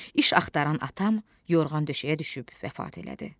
İş axtaran atam yorğan döşəyə düşüb vəfat elədi.